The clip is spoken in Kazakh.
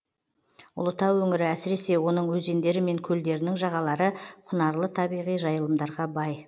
ұлытау өңірі әсіресе оның өзендері мен көлдерінің жағалары құнарлы табиғи жайылымдарға бай